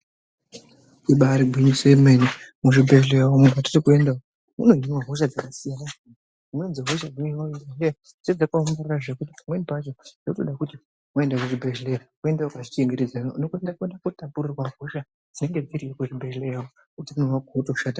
Ibaari gwinyiso yemene muzvibhedhlera mwatirikuenda umwo munohinwa hosha dzakasiyana siyana. Dzvimweni dzehosha dzinohinwa kuzvibhedhlera, dzinenge dzakaongororwa zvekuti pamweni pacho dzinoda kuti waenda kuzvibhedhlera uende wakazvichengetedza . Unokwanisa kuenda kutapurirwa hosha dzinenge dziriya kuzvibhedhlera hutano hwako wotoshata.